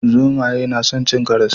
Zomaye na san cin karas